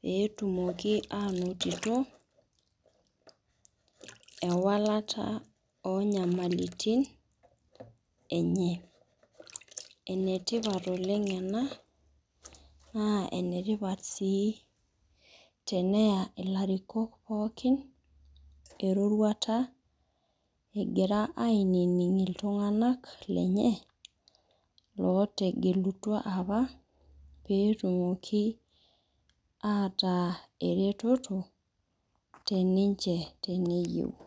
petumoki anoto, ewalata onyamalitin enye. Enetipat oleng ena, naa enetipat si teneya ilarikok pookin eroruata egira ainining' iltung'anak lenye, lootegelutua apa petumoki ataa ereteto teninche teneyieu.